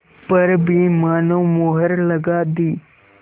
पर भी मानो मुहर लगा दी